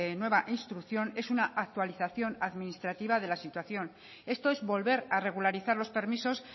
nueva instrucción es una actualización administrativa de la situación esto es volver a regularizar los permisos